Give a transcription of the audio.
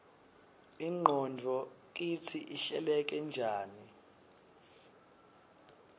ingqondvo kitsi ihleleke njani